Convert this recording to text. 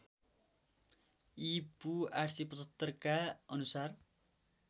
ईपू ८७५ का अनुसार